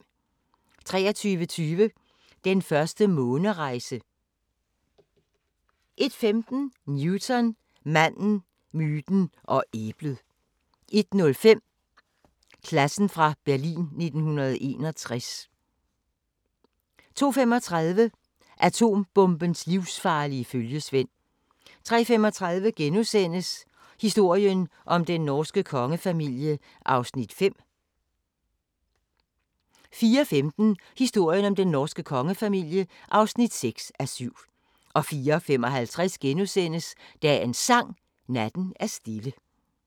23:20: Den første månerejse 00:15: Newton – manden, myten og æblet 01:05: Klassen fra Berlin 1961 02:35: Atombombens livsfarlige følgesvend 03:35: Historien om den norske kongefamilie (5:7)* 04:15: Historien om den norske kongefamilie (6:7) 04:55: Dagens Sang: Natten er stille *